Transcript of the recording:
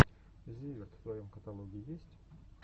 зиверт в твоем каталоге есть